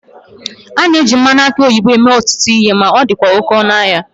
A na-eji mmanụ aki oyibo mee ọtụtụ ihe ma ọ dịkwa oke ọnụ ahịa